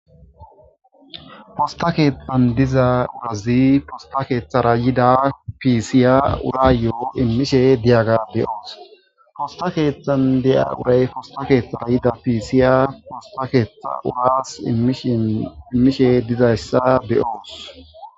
posta keethtan diza urazi posta keeththara yida piisiya urayyoo immishe diyaga beyoos posta keeththan diya uray posta keeththara yida piisiya posta keeththa uraas immishe dizayssa be'oos